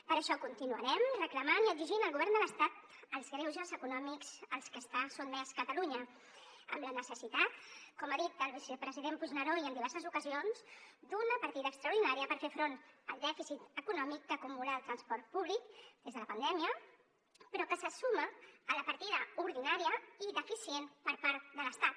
per això continuarem reclamant i exigint al govern de l’estat els greuges econòmics als que està sotmesa catalunya amb la necessitat com ha dit el vicepresident puigneró i en diverses ocasions d’una partida extraordinària per fer front al dèficit econòmic que acumula el transport públic des de la pandèmia però que se suma a la partida ordinària i deficient per part de l’estat